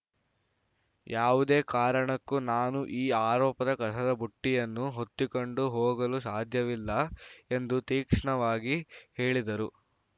ಯಾವುದೇ ಕಾರಣಕ್ಕೂ ನಾನು ಈ ಆರೋಪದ ಕಸದ ಬುಟ್ಟಿಯನ್ನು ಹೊತ್ತಿಕೊಂಡು ಹೋಗಲು ಸಾಧ್ಯವಿಲ್ಲ ಎಂದು ತೀಕ್ಷ್ಣವಾಗಿ ಹೇಳಿದರು